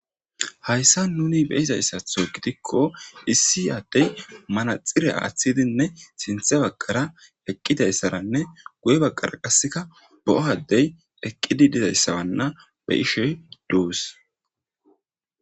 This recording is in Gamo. Hayssa nuni beizayssatho egidikko issi addey manaxire aaththidinne sinthe baggara eqqidayssaranne guye baggara qasseka bo7oaddey eqqidi dizayssabanna be ishoy duus.